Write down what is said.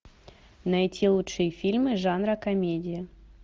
найти лучшие фильмы жанра комедия